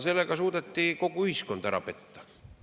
Sellega suudeti kogu ühiskond ära petta.